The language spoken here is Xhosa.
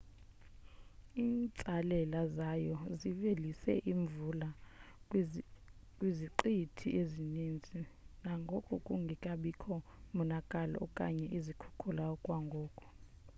iintsalela zayo zivelise imvula kwiziqithi ezininzi nangona kungekabikho monakalo okanye izikhukula okwangoku